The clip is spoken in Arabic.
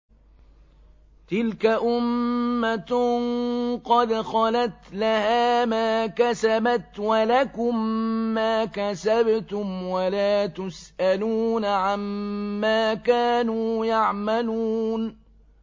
تِلْكَ أُمَّةٌ قَدْ خَلَتْ ۖ لَهَا مَا كَسَبَتْ وَلَكُم مَّا كَسَبْتُمْ ۖ وَلَا تُسْأَلُونَ عَمَّا كَانُوا يَعْمَلُونَ